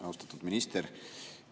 Austatud minister!